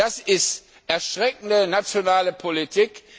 Das ist erschreckende nationale Politik.